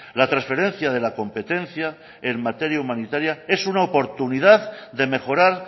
la transferencia de la competencia en materia humanitaria es una oportunidad de mejorar